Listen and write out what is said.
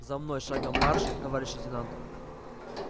за мной шагом марш товарищ лейтенант